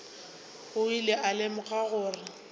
o ile a lemoga gore